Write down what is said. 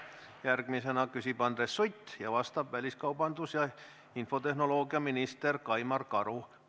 Järgmisena küsib Andres Sutt ja vastab väliskaubandus- ja infotehnoloogiaminister Kaimar Karu.